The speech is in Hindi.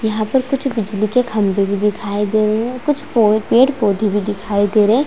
यहाँ पर कुछ बिजली के खंभे भी दिखाई दे रहे है कुछ पोए पेड़ -पौधे भी दिखाई दे रहे है।